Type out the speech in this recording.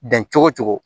Dan cogo cogo